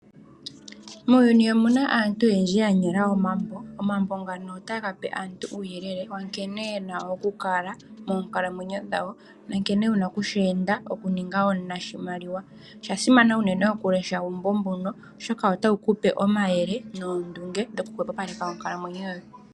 Muuyuni omuna aantu oyendji ya ninga omambo, omambo ngono otaga pe uuyelele nkene yena ku kala moonkalamweno dhayo nankene wuna okushi enda okuninga omunashimaliwa, osha simana unene oku lesha uumbo mbuno oshoka otawu kupe omayele noondunge dhoku hopapaleka onkalamweno yoye.